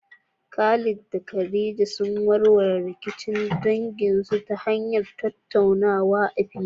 Khalid da Khadija sun warware rikicin danginsu ta hanyar tattaunawa a fili.